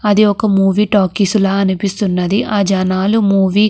అది ఒక movie talkies లాగా అనిపిస్తున్నది. ఆ జనాలు మూవీ --